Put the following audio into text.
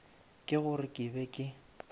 ke gore ke be ke